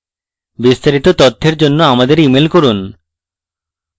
বিস্তারিত তথ্যের জন্য আমাদের ইমেল করুন